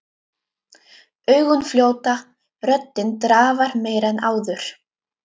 Augun fljóta, röddin drafar meira en áður.